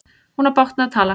Hún á bágt með að tala.